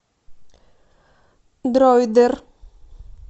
дройдер